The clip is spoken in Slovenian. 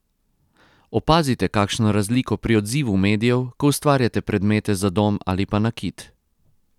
Opazite kakšno razliko pri odzivu medijev, ko ustvarjate predmete za dom ali pa nakit?